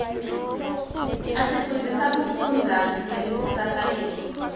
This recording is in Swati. asifundzisa kufundza ngelikusasa letfu